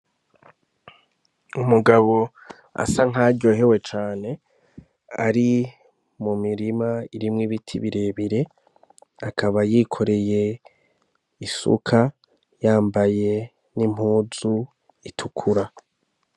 Umugabo asa nk'aho aryohewe cane ari mirima irimwo ibiti birebire, akaba yokoreye isuka, yambaye n'impuzu itukura.